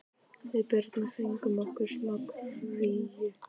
Við Birna fengum okkur smá kríu.